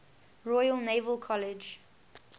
royal naval college